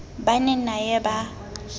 ba ne na ye ba